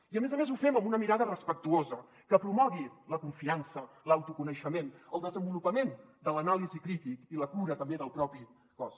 i a més a més ho fem amb una mirada respectuosa que promogui la confiança l’autoconeixement el desenvolupament de l’anàlisi crítica i la cura també del propi cos